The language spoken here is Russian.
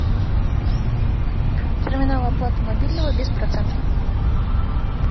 терминал оплаты мобильного без процентов